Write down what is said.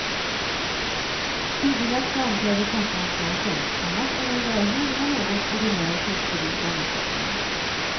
Tydligast framträder saffranssmaken, annars är det en välgjord men något ordinär fiskgryta med skaldjur.